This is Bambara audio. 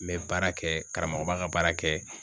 N bɛ baara kɛ karamɔgɔ b'a ka baara kɛ.